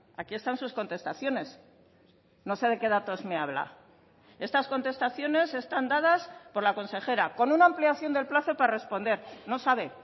aquí están sus contestaciones no sé de qué datos me habla estas contestaciones están dadas por la consejera con una ampliación del plazo para responder no sabe